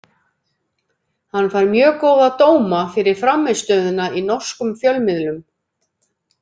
Hann fær mjög góða dóma fyrir frammistöðuna í norskum fjölmiðlum.